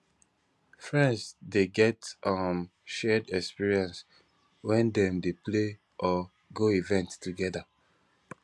friends de get um shared experience when dem de play or go events together